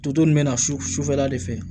Toto ninnu bɛna sufɛla de fɛ